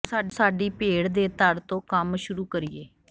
ਆਉ ਸਾਡੀ ਭੇਡ ਦੇ ਧੜ ਤੋਂ ਕੰਮ ਸ਼ੁਰੂ ਕਰੀਏ